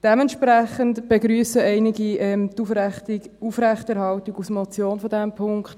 Dementsprechend begrüssen einige die Aufrechterhaltung dieses Punkts als Motion.